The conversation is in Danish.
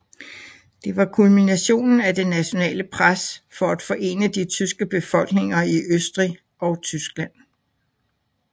Det var kulminationen af det nationale pres for at forene de tyske befolkninger i Østrig og Tyskland